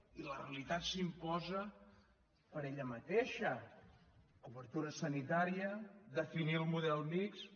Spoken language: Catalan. i la realitat s’imposa per ella mateixa cobertura sanitària definir el model mixt